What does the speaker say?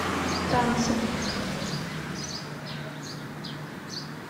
танцы